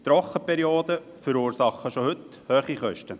Trockenperioden verursachen schon heute hohe Kosten.